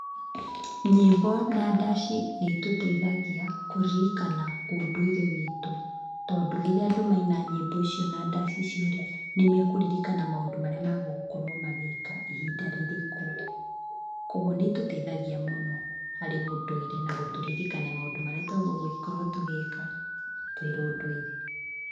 Nyĩmbo na ndaci nĩ itũteithagia kũririkana ũndũire witũ, tondũ rĩrĩa andũ maina nyĩmbo icio na ndaci icio rĩ, nĩ mekũririkana maũndũ marĩa magũkorwo magĩka ihinda rĩrĩkũ, koguo nĩ itũteithagia mũno, harĩ ũndũire na gũtũririkania maũndũ marĩa twagĩrĩirwo gũkorwo tũgĩka, kĩũndũire.